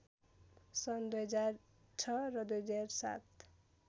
सन् २००६ र २००७